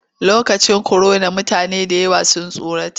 Lokacin korona mutane da yawa sun tsorata.